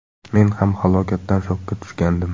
Men ham holatdan shokka tushgandim.